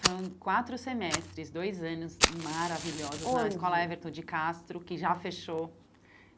Foram quatro semestres, dois anos maravilhosos onde na Escola Everton de Castro, que já fechou.